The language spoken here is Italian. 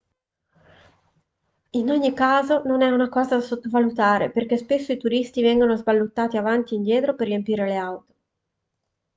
in ogni caso non è una cosa da sottovalutare poiché spesso i turisti vengono sballottati avanti e indietro per riempire le auto